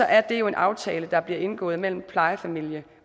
er en aftale der bliver indgået mellem plejefamilie